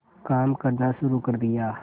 काम करना शुरू कर दिया